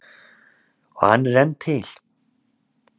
Og hann er enn til.